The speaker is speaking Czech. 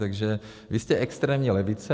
Takže vy jste extrémní levice.